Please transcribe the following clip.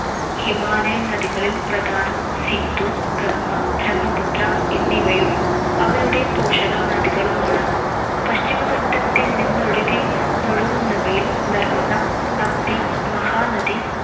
Himalayan നദികളിൽ പ്രധാനം സിന്ധു, ഗംഗ, ബ്രഹ്മപുത്ര എന്നിവയും അവയുടെ പോഷക നദികളുമാണ്‌. പശ്ചിമഘട്ടത്തിൽ നിന്നൊഴുകി~ നിന്നൊഴുകുന്നവയിൽ നർമദ, തപ്തി, മഹാനദി,